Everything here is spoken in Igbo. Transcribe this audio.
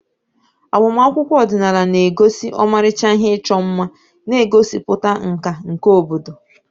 Agbamakwụkwọ ọdịnala na-egosi ọmarịcha ihe ịchọ mma, na-egosipụta nka nke obodo.